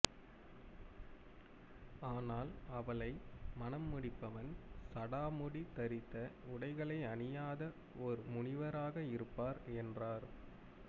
ஆனால் அவளை மனம் முடிப்பவன் சடாமுடி தரித்த உடைகள் அணியாத ஒரு முனிவராக இருப்பார் என்றார்